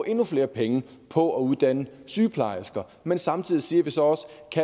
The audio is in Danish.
endnu flere penge på at uddanne sygeplejersker men samtidig siger vi så også